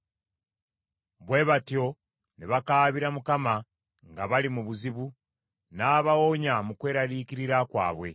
Bwe batyo ne bakaabira Mukama nga bali mu buzibu; n’abawonya mu kweraliikirira kwabwe.